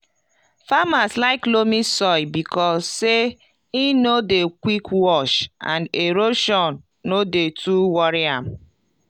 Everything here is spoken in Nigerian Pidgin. farmers like loamy soil because say e no dey quick wash and erosion no dey too worry am